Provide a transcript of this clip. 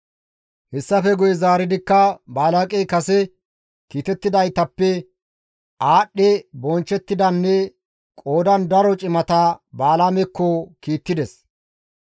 Hessafe guye zaaridikka Balaaqey kase kiitettidaytappe aadhdhi bonchchettidanne qoodan daro cimata Balaamekko kiittides.